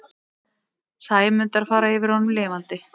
Sæmundar fara yfir honum lifandi.